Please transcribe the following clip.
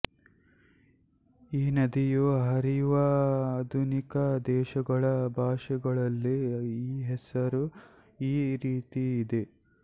ಈ ನದಿಯು ಹರಿಯುವ ಆಧುನಿಕ ದೇಶಗಳ ಭಾಷೆಗಳಲ್ಲಿ ಈ ಹೆಸರು ಈ ರೀತಿಯಿದೆ